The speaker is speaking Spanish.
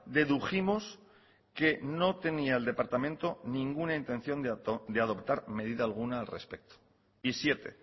dedujimos que no tenía el departamento ninguna intención de adoptar medida alguna al respecto y siete